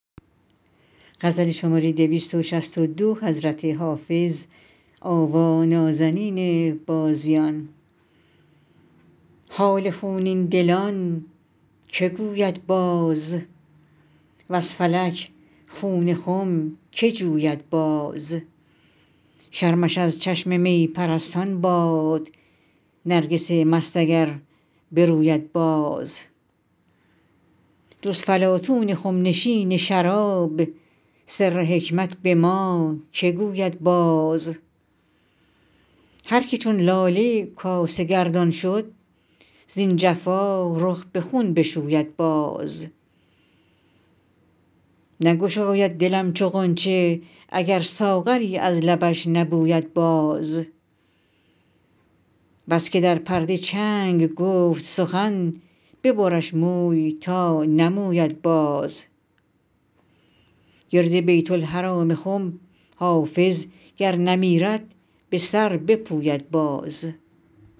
حال خونین دلان که گوید باز وز فلک خون خم که جوید باز شرمش از چشم می پرستان باد نرگس مست اگر بروید باز جز فلاطون خم نشین شراب سر حکمت به ما که گوید باز هر که چون لاله کاسه گردان شد زین جفا رخ به خون بشوید باز نگشاید دلم چو غنچه اگر ساغری از لبش نبوید باز بس که در پرده چنگ گفت سخن ببرش موی تا نموید باز گرد بیت الحرام خم حافظ گر نمیرد به سر بپوید باز